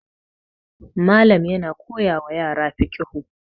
Malam yana koyawa yara fiqhu